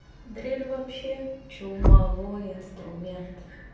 дрель вообще чумовой инструмент